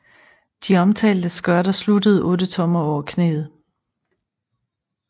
De omtalte skørter sluttede otte tommer over knæet